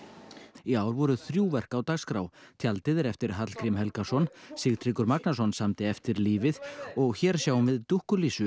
í ár voru þrjú verk á dagskrá tjaldið er eftir Hallgrím Helgason Sigtryggur Magnason samdi eftir lífið og hér sjáum við